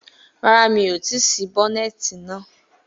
Rárá, mi ò tí ì ṣí bonnet náà